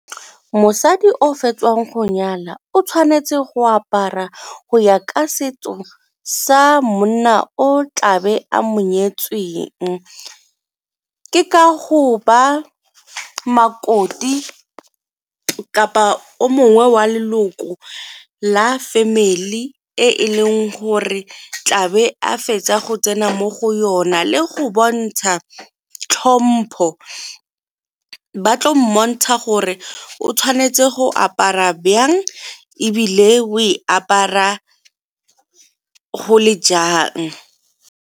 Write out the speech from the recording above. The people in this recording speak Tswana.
Mosadi o fetsang go nyala o tshwanetse go apara go ya ka setso sa monna o tlabe a mo nyetsweng. Ke ka go ba makoti kapa o mongwe wa leloko la family e e leng gore tlabe a fetsa go tsena mo go yona le go bontsha tlhompo ba tlo mmontsha gore o tshwanetse go apara bjang ebile o e apara go le jang.